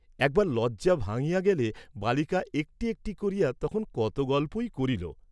একবার লজ্জা ভাঙ্গিয়া গেলে বালিকা একটী একটী করিয়া তখন কত গল্পই করিল।